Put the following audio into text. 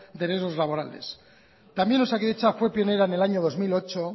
de riesgos laborales también osakidetza fue pionera en el año dos mil ocho